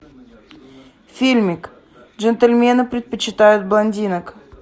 фильмик джентльмены предпочитают блондинок